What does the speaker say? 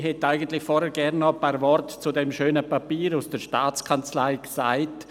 Ich hätte vorhin gerne ein paar Worte zu dem schönen Papier der Staatskanzlei gesagt.